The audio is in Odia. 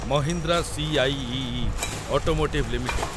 ମହିନ୍ଦ୍ରା ସି.ଆଇ.ଇ.ଇ. Automotive limited